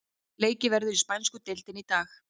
Leikið verður í spænsku deildinni í dag.